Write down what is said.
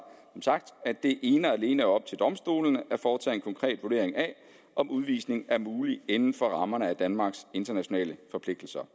som sagt at det ene og alene er op til domstolene at foretage en konkret vurdering af om udvisning er mulig inden for rammerne af danmarks internationale forpligtelser